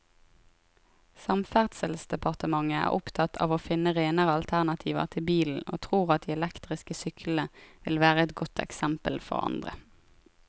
Samferdselsdepartementet er opptatt av å finne renere alternativer til bilen og tror at de elektriske syklene vil være et godt eksempel for andre.